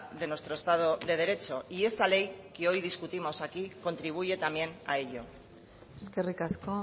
de nuestro estado de derecho y esta ley que hoy discutimos aquí contribuye también a ello eskerrik asko